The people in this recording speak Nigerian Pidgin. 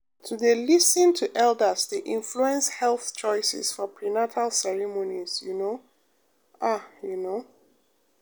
to dey lis ten to elders dey influence health choices for prenatal ceremonies you know ah you know.